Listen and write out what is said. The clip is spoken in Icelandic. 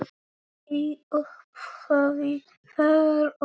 Í upphafi var orðið